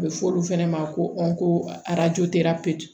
A bɛ fɔ olu fɛnɛ ma ko